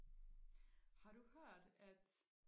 har du hørt at